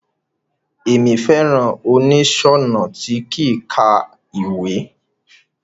Emi fẹràn oniṣọnà ti kíkà ìwé.